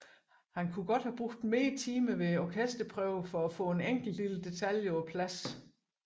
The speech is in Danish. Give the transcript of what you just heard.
Han kunne godt bruge flere timer ved orkesterprøverne på at få en enkelt lille detalje på plads